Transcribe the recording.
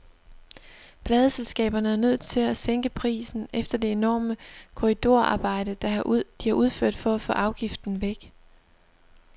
Pladeselskaberne er nødt til at sænke prisen efter det enorme korridorarbejde, de har udført for at få afgiften væk.